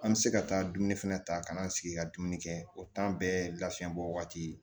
An bɛ se ka taa dumuni fɛnɛ ta ka na an sigi ka dumuni kɛ o bɛɛ ye lafiyabɔ waati